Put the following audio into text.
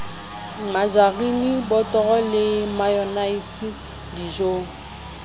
majerini botoro le mayonaise dijong